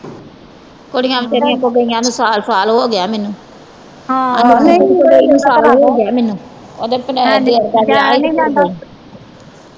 ਕੁੜੀਆਂ ਵਿਚਾਰੀਆਂ ਤੋਂ ਗਈਆ ਨੂੰ ਸਾਲ ਸਾਲ ਹੋ ਗਿਆ ਮੈਨੂੰ ਸਾਲ ਹੋਗਿਆ ਮੈਨੂੰ ਓਦੇ ਦਿਓਰ ਦਾ ਵਿਆਹ ਹੀ ਤੇ ਫਿਰ ਗਈ।